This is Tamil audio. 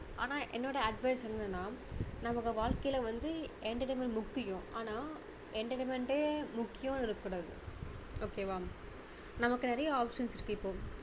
ஆனா என்னோட advice என்னன்னா நமக்கு வாழ்க்கையில வந்து entertainment முக்கியம் ஆனா entertainment டே முக்கியம்னு இருக்க கூடாது okay வா நமக்கு நிறைய options இருக்கு இப்போ